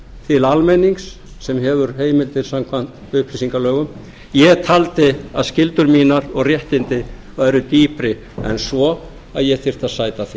til almennings sem hefur heimildir samkvæmt upplýsingalögum ég taldi að skyldur mínar og réttindi væru dýpri en svo að ég þyrfti að sæta því